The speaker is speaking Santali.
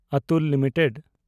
ᱚᱛᱩᱞ ᱞᱤᱢᱤᱴᱮᱰ